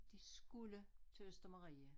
De skulle til Østermarie